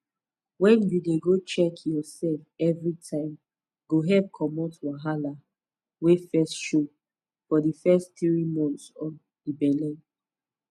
wen u dey go check your sef evri time go help commot wahala wey fit show for di fess tiri months of di belle